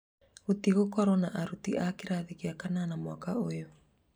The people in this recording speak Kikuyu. gũtigũkorwo na arutwo a kĩrathi gĩa kanana mwaka ũyũ.